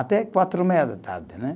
Até quatro e meia da tarde, né?